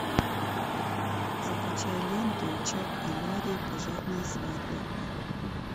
закачай ленту чак и ларри пожарная свадьба